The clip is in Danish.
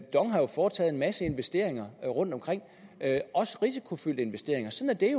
dong har jo foretaget en masse investeringer rundtomkring også risikofyldte investeringer sådan er